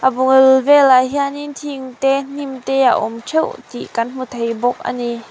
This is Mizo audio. a bul velah hianin thing te hnim te a awm theuh tih kan hmu thei bawk a ni.